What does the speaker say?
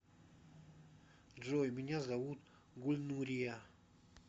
джой меня зовут гульнурия